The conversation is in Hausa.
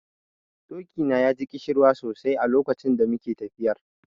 Doki na ya ji ƙishirwa sosai a lokacin da muke tafiyar.